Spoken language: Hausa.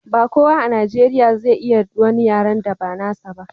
ba kowa a najeriya zai iya wani yaren da ba nasa ba